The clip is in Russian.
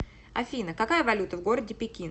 афина какая валюта в городе пекин